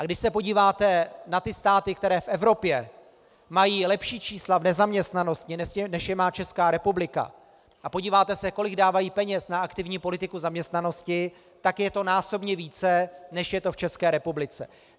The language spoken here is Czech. A když se podíváte na ty státy, které v Evropě mají lepší čísla v nezaměstnanosti, než je má Česká republika, a podíváte se, kolik dávají peněz na aktivní politiku zaměstnanosti, tak je to násobně více, než je to v České republice.